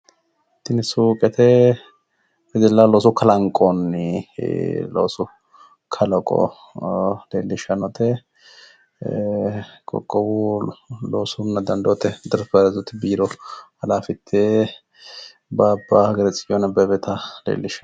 tini suuqete wedellaho looso kalanqoonni loosu kalaqo leellishshannote ee qoqowu loosunna dandoote interpiraze biiro halaafite baaba hageri tsiyooni abebeta leellishshanno.